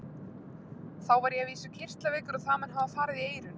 Þá var ég að vísu kirtlaveikur og það mun hafa farið í eyrun.